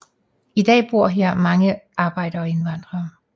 I dag bor her mange arbejdere og indvandrere